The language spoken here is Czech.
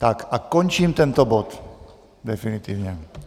Tak a končím tento bod, definitivně.